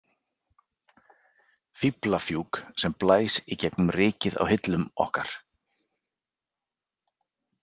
Fíflafjúk sem blæs í gegnum rykið á hillum okkar.